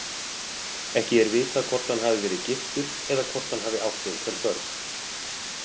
Ekki er vitað hvort hann hafi verið giftur eða hvort hann hafi átt einhver börn.